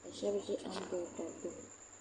ka shab ʒi anbirɛla gbuni